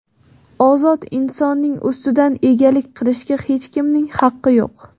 Ozod insonning ustidan egalik qilishga hech kimning haqqi yo‘q.